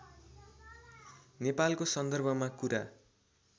नेपालको सन्दर्भमा कुरा